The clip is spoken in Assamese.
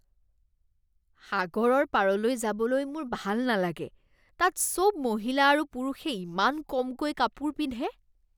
সাগৰৰ পাৰলৈ যাবলৈ মোৰ ভাল নালাগে। তাত চব মহিলা আৰু পুৰুষে ইমান কমকৈ কাপোৰ পিন্ধে।